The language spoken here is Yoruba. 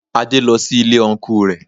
Adé lọ sí Ilé Ọnkú rẹ